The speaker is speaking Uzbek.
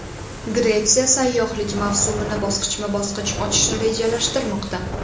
Gretsiya sayyohlik mavsumini bosqichma-bosqich ochishni rejalashtirmoqda.